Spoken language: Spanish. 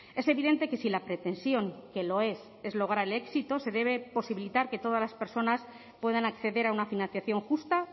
es evidente que si la pretensión que lo es es lograr el éxito se debe posibilitar que todas las personas puedan acceder a una financiación justa